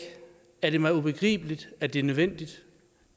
er det mig ubegribeligt at det er nødvendigt